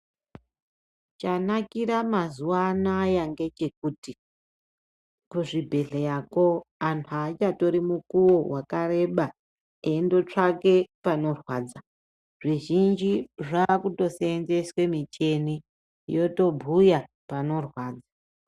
Chanakira mazuwa anaya ngechekuti, kuzvibhedhleyako antu aachatori mukuwo wakareba, eindotsvake panorwadza. Zvizhinji zvaakutoseenzeswe micheni yotobhuya panorwadza.